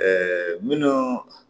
minnu